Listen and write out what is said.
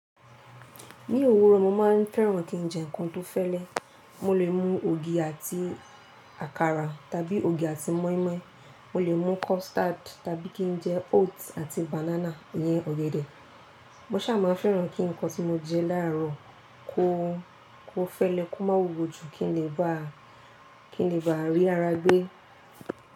Ní òwúrọ̀, mo máa ń fẹ́ràn kí n jẹ nkán tó fẹ́lẹ́. Mo lè mú ògì àti àkàrà tàbí ògì àti mọ́ínmọ́ín, mo lè mú custard tàbí kí n jẹ oats àti banana iyẹn ọ̀gẹ̀dẹ̀. Mọ́ sà máa ń fẹ́ràn kí nkán tí mo jẹ láàrọ̀ kó, kó fẹ́lẹ́, kó má wuwo ju kí n lè bá, kí n lè bá rí ara gbé.